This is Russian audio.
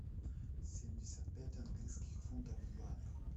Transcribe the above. семьдесят пять английских фунтов в юанях